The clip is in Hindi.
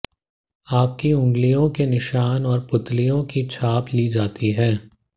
आपकी अंगुलियों के निशान और पुतलियों की छाप ली जाती है